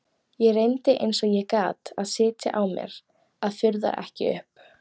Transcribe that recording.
Ég reyndi eins og ég gat að sitja á mér að fuðra ekki upp.